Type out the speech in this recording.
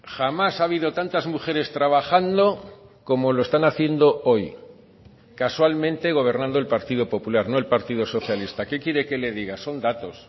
jamás ha habido tantas mujeres trabajando como lo están haciendo hoy casualmente gobernando el partido popular no el partido socialista qué quiere que le diga son datos